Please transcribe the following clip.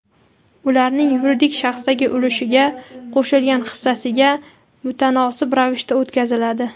ularning yuridik shaxsdagi ulushiga (qo‘shilgan hissasiga) mutanosib ravishda o‘tkaziladi;.